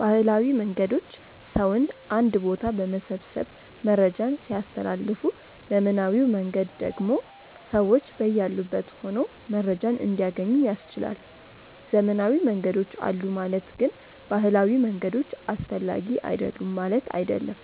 ባህላዊ መንገዶች ሰውን አንድ ቦታ በመሰብሰብ መረጃን ሲያስተላልፉ ዘመናዊው መንገድ ደግሞ ሰዎች በያሉበት ሆነው መረጃን እንዲያገኙ ያስችላል። ዘመናዊ መንገዶች አሉ ማለት ግን ባህላዊ መንገዶች አስፈላጊ አይደሉም ማለት አይደለም።